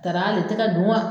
Taara ale tɛ ka dun wa?